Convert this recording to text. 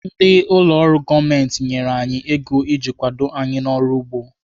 Ndị ụlọ ọrụ gọọmenti nyere anyị ego iji kwado anyị n'ọrụ ugbo.